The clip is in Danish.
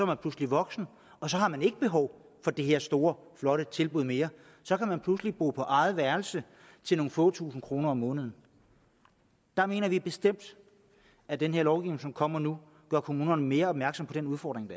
man pludselig voksen og så har man ikke behov for det her store flotte tilbud mere så kan man pludselig bo på eget værelse til nogle få tusind kroner om måneden der mener vi bestemt at den her lovgivning som kommer nu gør kommunerne mere opmærksom på den udfordring